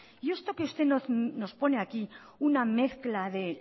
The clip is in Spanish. y esto que usted nos pone aquí una mezcla de